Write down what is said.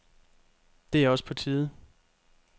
Det er også på tide.